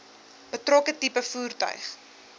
betrokke tipe voertuig